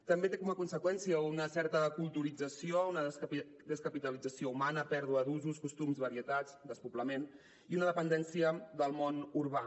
també té com a conseqüència una certa culturització una descapitalització humana pèrdua d’usos costums varietats despoblament i una dependència del món urbà